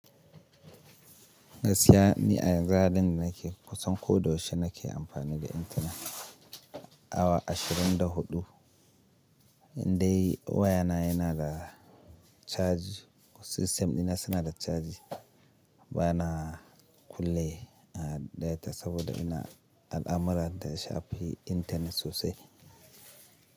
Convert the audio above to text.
Gaskiya ni a yanzu halin da nake kusan ko da yaushe nake amfani da intanet awa ashirin da huɗu. Indai wayana yana da caji, ko system dina suna da caji bana kulle a data saboda ina al'amuran da ya shafi intanet sosai.